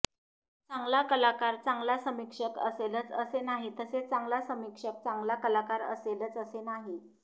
चांगला कलाकार चांगला समीक्षक असेलच असे नाही तसेच चांगला समीक्षक चांगला कलाकार असेलच असे नाही